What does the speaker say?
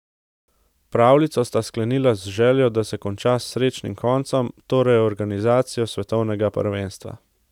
Pravljico sta sklenila z željo, da se konča s srečnim koncem, torej organizacijo svetovnega prvenstva.